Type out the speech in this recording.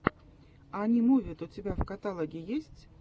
анимувид у тебя в каталоге есть